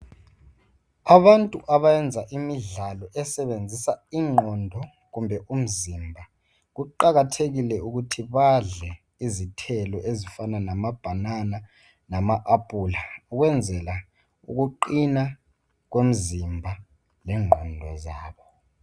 Abantu abayenza imidlalo esebenzisa ingqondo kumbe umzimba. Kuqakathekile ukuthi badle izithelo ezifana lamabhanana lama- aphula, ukwenzela ukuqina kwemzimba lengqondo zabo.